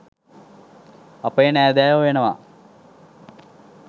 අපේ නෑදෑයො වෙනවා.